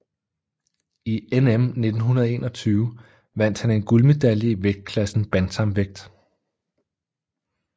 I NM 1921 vandt han en guldmedalje i vægtklassen bantamvægt